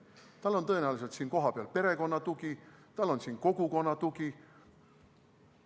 Tal on tõenäoliselt siin kohapeal perekonna tugi, tal on siin kogukonna tugi.